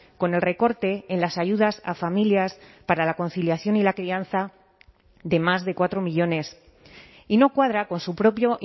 con el recorte en las ayudas a familias para la conciliación y la crianza de más de cuatro millónes y no cuadra con su propio